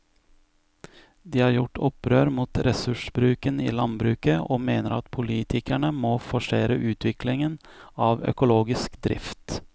De har gjort opprør mot ressursbruken i landbruket og mener at politikerne må forsere utviklingen av økologisk drift.